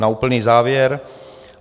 Na úplný závěr.